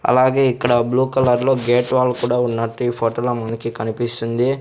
అలాగే ఇక్కడ blue colour లో గేట్ వాల్ కూడా ఉన్నట్టు ఈ ఫోటోలో మనకి కనిపిస్తుంది.